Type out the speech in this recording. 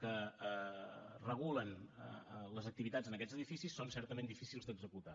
que regulen les activitats en aquests edificis són certament difícils d’executar